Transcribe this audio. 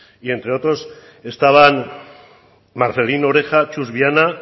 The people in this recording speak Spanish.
y entre otros estaban marcelino oreja txus viana